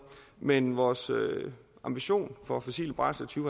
men vores ambition for fossile brændsler to